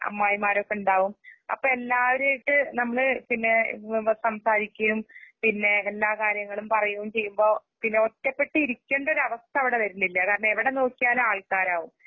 അമ്മായിമാരൊക്കെണ്ടാവും അപ്പഎല്ലാവരെയൊക്കെ നമ്മള്പിന്നേ വ് വ സംസാരിക്കയും പിന്നേ എല്ലാകാര്യങ്ങളുംപറയുംചെയ്യുമ്പൊ പിന്നെഒറ്റപ്പെട്ടിരിക്കേണ്ടൊരവസ്ഥ അവിടെവരുന്നില്ല കാരണഎവിടെനോക്കിയാലാൾക്കാരാവും.